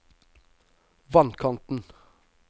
vannkanten